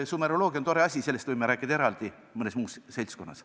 Sumeroloogia on tore asi, aga sellest võime rääkida eraldi mõnes muus seltskonnas.